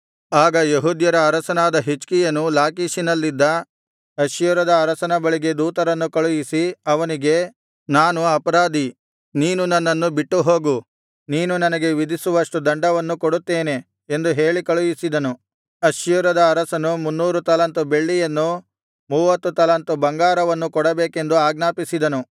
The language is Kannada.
ಆಗ ಯೆಹೂದ್ಯರ ಅರಸನಾದ ಹಿಜ್ಕೀಯನು ಲಾಕೀಷಿನಲ್ಲಿದ್ದ ಅಶ್ಶೂರದ ಅರಸನ ಬಳಿಗೆ ದೂತರನ್ನು ಕಳುಹಿಸಿ ಅವನಿಗೆ ನಾನು ಅಪರಾಧಿ ನೀನು ನನ್ನನ್ನು ಬಿಟ್ಟು ಹೋಗು ನೀನು ನನಗೆ ವಿಧಿಸುವಷ್ಟು ದಂಡವನ್ನು ಕೊಡುತ್ತೇನೆ ಎಂದು ಹೇಳಿ ಕಳುಹಿಸಿದನು ಅಶ್ಶೂರದ ಅರಸನು ಮುನ್ನೂರು ತಲಾಂತು ಬೆಳ್ಳಿಯನ್ನೂ ಮೂವತ್ತು ತಲಾಂತು ಬಂಗಾರವನ್ನೂ ಕೊಡಬೇಕೆಂದು ಆಜ್ಞಾಪಿಸಿದನು